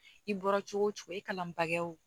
I bɔra cogo o cogo i kalan bakɛ o